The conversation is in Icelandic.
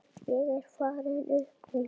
Ég er farinn upp úr.